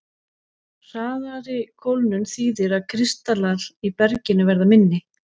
Hraðari kólnun þýðir að kristallar í berginu verða minni.